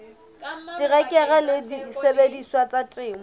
terekere le disebediswa tsa temo